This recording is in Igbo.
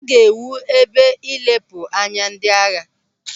A ga-ewu ebe nlepụ anya ndị agha.